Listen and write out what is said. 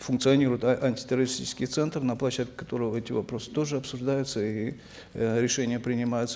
функционирует антитеррористический центр на площадке которого эти вопросы тоже обсуждаются и э решения принимаются